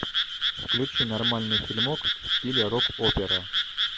включи нормальный фильмок в стиле рок опера